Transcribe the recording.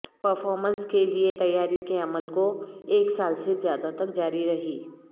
performance کے لئے تیاری کے عمل کو ایک سال سے زیادہ تک جاری رہی